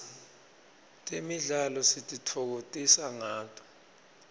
temidlalo sititfokotisa ngato